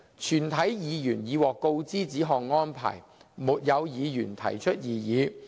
全體議員已獲告知此項安排，沒有議員提出異議。